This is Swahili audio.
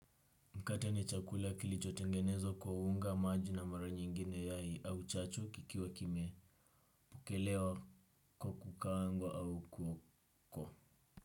Mkate ni chakula kilicho tengenezwa kwa unga maji na mara nyingine yai au chachu kikiwa kime pokelewa kwa kukaangwa au kuko.